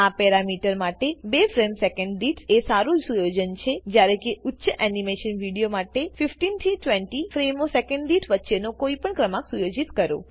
આ પેરામીટર માટે 2 frame second દીઠ એ સારું સુયોજન છેજયારે કેઉચ્ચ એનીમેશન વિડીઓ માટે 15 20 ફ્રેમો સેકેંડ દીઠ વચ્ચેનો કોઈ પણ ક્રમાંક સુયોજિત કરો